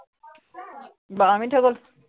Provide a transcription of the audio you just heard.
বাৰ minute হৈ গল।